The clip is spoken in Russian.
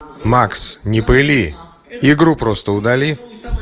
макс не пыли игру просто удали